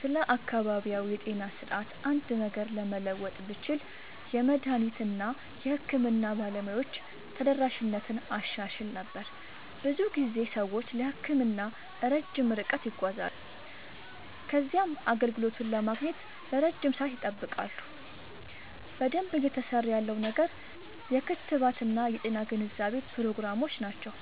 ስለ አካባቢያዊ የጤና ስርዓት አንድ ነገር ለመለወጥ ብችል፣ የመድኃኒት እና የሕክምና ባለሙያዎች ተደራሽነትን አሻሽል ነበር። ብዙ ጊዜ ሰዎች ለሕክምና ረጅም ርቀት ይጓዛሉ ከዚያም አገልግሎቱን ለማግኘት ለረጅም ሰዓት ይጠብቃሉ። በደንብ እየሠራ ያለው ነገር የክትባት እና የጤና ግንዛቤ ፕሮግራሞች ናቸው።